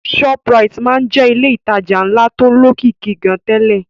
Shoprite máa ń jẹ́ ilé ìtajà ńlá tó lókìkí gan-an tẹ́lẹ̀